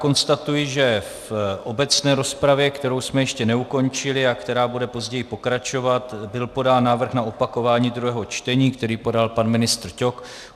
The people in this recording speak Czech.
Konstatuji, že v obecné rozpravě, kterou jsme ještě neukončili a která bude později pokračovat, byl podán návrh na opakování druhého čtení, který podal pan ministr Ťok.